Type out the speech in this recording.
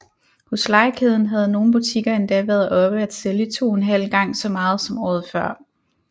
Hos Legekæden havde nogle butikker endda været oppe at sælge 2½ gang så meget som året før